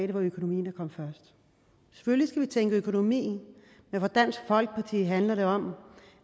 det var økonomien der kom først selvfølgelig skal vi tænke økonomi men for dansk folkeparti handler det om